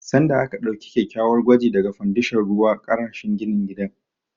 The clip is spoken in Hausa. Sanda aka ɗauki kyakkyawar gwaji daga fandashon ruwa karashin ginin gidan